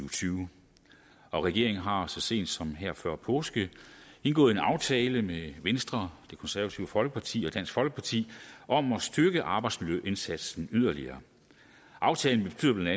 og tyve og regeringen har så sent som her før påske indgået en aftale med venstre det konservative folkeparti og dansk folkeparti om at styrke arbejdsmiljøindsatsen yderligere aftalen betyder bla at